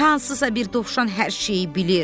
Hansısa bir dovşan hər şeyi bilir!